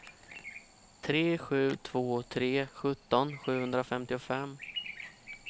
tre sju två tre sjutton sjuhundrafemtiofem